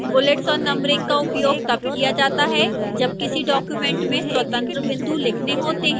bullets और numbering का उपयोग तब किया जाता है जब किसी document में स्वतंत्र बिंदु लिखने होते हैं